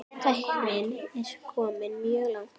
Tæknin er komin mjög langt.